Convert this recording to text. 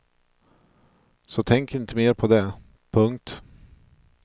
Så tänk inte mer på det. punkt